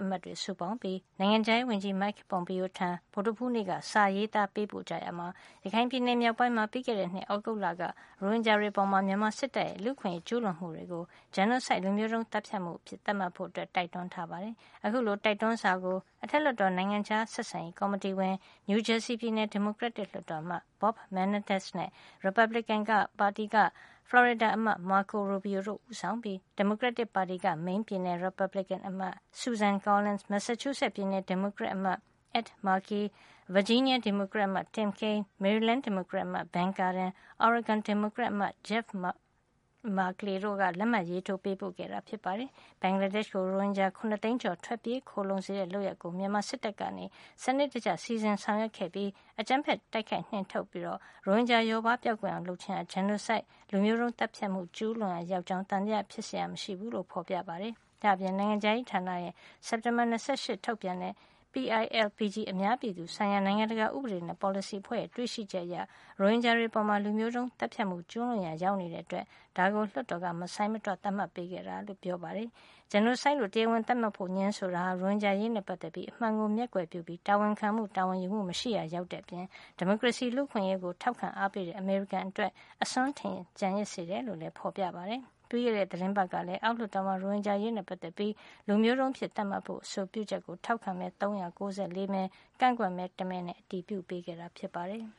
အမတ်တွေ စုပေါင်းပြီး နိုင်ငံခြားရေး ဝန်ကြီး Mike Pompeo ထံ ဗုဒ္ဓဟူး နေ့က စာရေးသား ပေးပို့ရာမှာ ရခိုင်ပြည်နယ် မြောက်ပိုင်းမှာ ပြီးခဲ့တဲ့ နှစ် သြဂုတ်လက ရိုဟင်ဂျာတွေ အပေါ် မြန်မာစစ်တပ်ရဲ့ လူ့အခွင့်ရေး ကျူးလွန်မှုကို genocide လူမျိုးတုန်း သတ်ဖြတ်မှု အဖြစ်သတ်မှတ်ဖို့ တိုက်တွန်းထားပါတယ်။ အခုလို တိုက်တွန်းစာကို အထက်လွှတ်တော် နိုင်ငံခြား ဆက်ဆံရေး ကော်မတီဝင် နယူးဂျာစီပြည်နယ် ဒီမိုကရက်လွှတ်တော်အမတ် Bob Menendez နဲ့ ရီပတ်ဘလစ်ကင်ပါတီက ဖလော်ရီဒါအမတ် Marco Robio တို့ ဦးဆောင်ပြီး၊ ဒီမိုကရက်တစ်ပါတီက မိန်းပြည်နယ် ရီပတ်ဘလစ်ကင်အမတ် Susan Collins ၊ မက်ဆာချူးဆက်ပြည်နယ် ဒီမိုကရက်အမတ် Ed Markey ဗာဂျီးနီးယား ဒီမိုကရက်အမတ် Tim Kaine မေရီလန်းက ဒီမိုကရက်အမတ် Ben Cardin၊ အော်ရီဂွန်က ဒီမိုကရက်အမတ် Jeff Merkley တို့ က လက်မှတ်ရေးထိုးကြတာ ဖြစ်ပါတယ်။ ဘင်္ဂလားဒေ့ရှ်ကို ရိုဟင်ဂျာ ၇ သိန်းကျော် ထွက်ပြေးခိုလှုံ စေတဲ့ လုပ်ရပ်ကို မြန်မာစစ်တပ်က စံနစ်တကျ စီစဉ် ဆောင်ရွက်ခဲ့ပြီး အကြမ်းဖက် တိုက်ခိုက် နှင်ထုတ်ခါ ရိုဟင်ဂျာလျှော့ပါးကွယ်ပျောက် အောင် လုပ်ခြင်းဟာ genocide လူမျိုးတုန်း သတ်ဖြတ်မှု ကျူးလွန်ရာရောက်ကြောင်း သံသယဖြစ်စရာ မရှိဘူးလို့ ဖေါ်ပြထားပါတယ်။ ဒါ့အပြင် နိုင်ငံခြားရေးဌာနရဲ့ စက်တင်ဘာလ ၂၈ က ထုတ်ပြန်ခဲ့တဲ့ PILPG အများ ပြည်သူဆိုင်ရာ နိုင်ငံတကာ ဥပဒေနဲ့ ပေါ်စလီ အဖွဲ့ရဲ့ တွေ့ရှိချက်အရ ရိုဟင်ဂျာတွေအပေါ် လူမျိုးတုန်း သတ်ဖြတ်မှု ကျူးလွန်ရာ ရောက်တဲ့အတွက် ဒါကို လွှတ်တော်က မဆိုင်းမတွ သတ်မှတ်ပေးခဲ့တာ ဖြစ်ပါတယ်။ genocide လို့ တရားဝင် သတ်မှတ်ဖို့ ငြင်းဆိုခြင်းဟာ ရိုဟင်ဂျာ အရေးနဲ့ ပတ်သက်ပြီး အမှန်ကို မျက်ကွယ်ပြုပြီး တာဝန်ခံမှု တာဝန်ယူမှု မရှိရာ ရောက်တဲ့အပြင် ဒီမိုကရေစီ လူ့အခွင့်ရေးကို ထောက်ခံအားပေးတဲ့ အမေရိကန်အတွက် အစွန်းထင် ကျန်ရစ်စေတယ် လို့လည်း ဖေါ်ပြထားပါတယ်။ ပြီးခဲ့တဲ့ သီတင်းပတ်ကလည်း အောက်လွှတ်တော်မှာ ရိုဟင်ဂျာအရေးနဲ့ ပတ်သက်ပြီး လူမျိုးတုန်းအဖြစ် သတ်မှတ်ဖို့ အဆိုပြုချက်ကို ထောက်ခံမဲ ၃၉၄ မဲ ကန့်ကွက်မဲ တမဲနဲ့ အတည်ပြုခဲ့တာ ဖြစ်ပါတယ်။